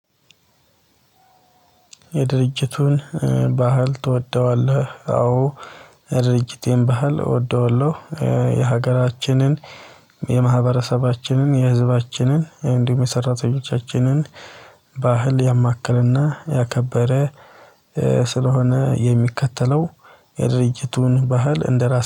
የድርጅቱን ባህል ትወደዋለህ? አዎ የድርጅቴን ባህል እወደዋለሁ። የሀገራችንን የማህበረሰባችንን የህዝባችንን እንዲሁም የሰራተኞቻችንን ባህል ያማከለና ያከበረ ስለሆነ የሚከተለው የድርጅቱን ባህል እንደራስ